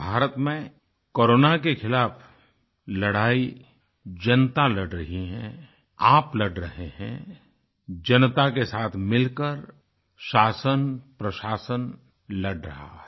भारत में कोरोना के खिलाफ़ लड़ाई जनता लड़ रही है आप लड़ रहे हैं जनता के साथ मिलकर शासन प्रशासन लड़ रहा है